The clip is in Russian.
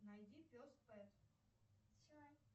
найди пес пэт